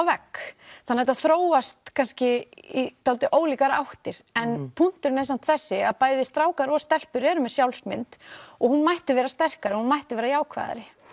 vegg þannig að þetta þróast kannski í dálítið ólíkar áttir en punkturinn er samt þessi að bæði strákar og stelpur eru með sjálfsmynd og hún mætti vera sterkari hún mætti vera jákvæðari